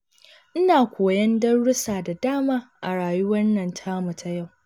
Ina koyon darussa da dama a rayuwar nan tamu ta yau.